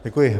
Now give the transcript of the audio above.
Děkuji.